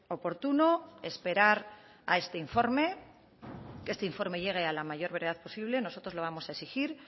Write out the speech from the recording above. oportuno esperar a este informe que este informe llegue a la mayor verdad posible nosotros lo vamos a exigir